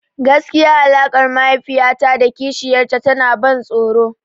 Gaskiya alaƙar mahaifiya ta da kishiyar ta tana ban tsoro.